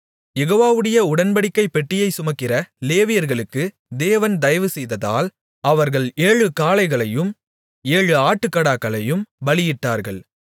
யெகோவாவுடைய உடன்படிக்கைப் பெட்டியைச் சுமக்கிற லேவியர்களுக்கு தேவன் தயவு செய்ததால் அவர்கள் ஏழு காளைகளையும் ஏழு ஆட்டுக்கடாக்களையும் பலியிட்டார்கள்